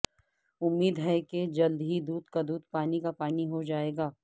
امید ہے کہ جلد ہی دودھ کا دودھ اور پانی کا پانی ہو جائے گا